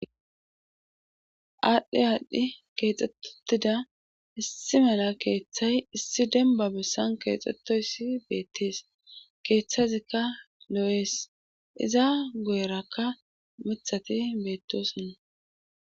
aadhdhi aadhdhi keexxet utida issi mala keeththay issi demba bessan keexxettoyssi beettees keeththazikka lo7ees iza goyerakka mithati beettosonna